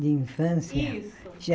De infância? Isso